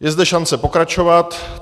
Je zde šance pokračovat.